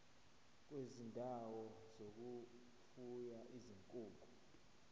kwezindawo zokufuya izinkukhu